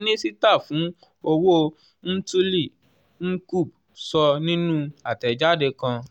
minisita fun owo mthuli ncube sọ ninu atẹjade kan.